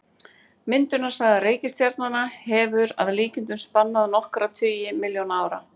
Myndunarsaga reikistjarnanna hefur að líkindum spannað nokkra tugi milljóna ára.